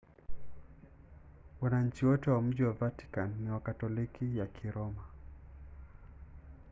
wananchi wote wa mji wa vatican ni wakatoliki ya kiroma